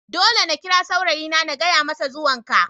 Dole na kira saurayina na gaya masa zuwan ka.